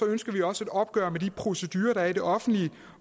ønsker vi også et opgør med de procedurer der er i det offentlige